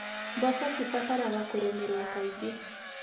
Mboco cibataraga kũrĩmĩrwo kaingĩ.